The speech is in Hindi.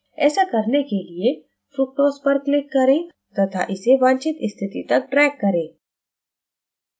ऐसा करने के लिए fructose पर click करें to इसे वांछित स्थिति तक drag करें